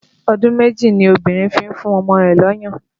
Ọdún méjì ni obìnrin fi ń fún ọmọ rẹ̀ lọ́yàn